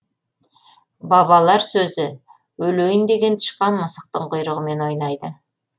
бабалар сөзі өлейін деген тышқан мысықтың құйрығымен ойнайды